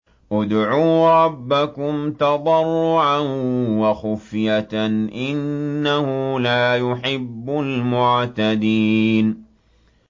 ادْعُوا رَبَّكُمْ تَضَرُّعًا وَخُفْيَةً ۚ إِنَّهُ لَا يُحِبُّ الْمُعْتَدِينَ